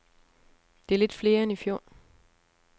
Det er lidt flere end i fjor.